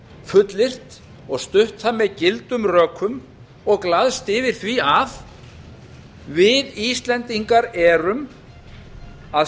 fullyrt og stutt það með gildum rökum og glaðst yfir því að við íslendingar erum að